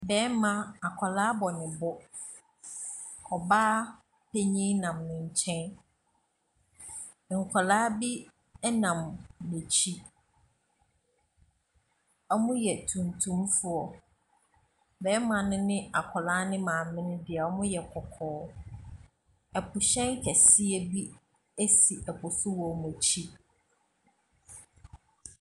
Barima, akwadaa bɔ ne bo. Ɔbaa panin nam ne nkyɛn. Nkwadaa bi nam n'akyi. Wɔyɛ tuntumfoɔ. Barima no ne akwadaa no maame deɛ, wɔyɛ kɔkɔɔ. Asuhyɛn kɛseɛ bi si ɛpo so wɔ wɔn akyi.